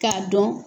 K'a dɔn